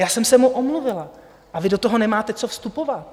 Já jsem se mu omluvila a vy do toho nemáte co vstupovat.